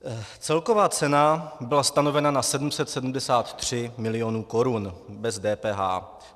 Celková cena byla stanovena na 773 milionů korun bez DPH.